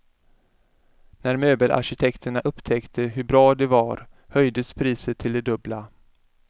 När möbelarkitekterna upptäckte hur bra det var höjdes priset till det dubbla.